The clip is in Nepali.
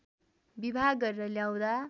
विवाह गरेर ल्याउँदा